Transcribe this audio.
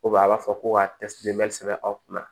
a b'a fɔ ko ka sɛbɛn aw kunna